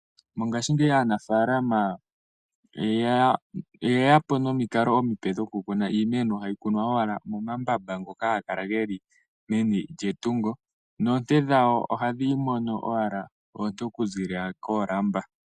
Mongashingeyi aanafalama oye yapo komikalo omipe dhokukuna iimeno. Ohayi kunwa owala momambamba ngoka haga kala geli meni lyetungo nohayi mono oonte okuza kolamba.